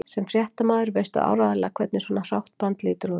Sem fréttamaður veistu áreiðanlega hvernig svona hrátt band lítur út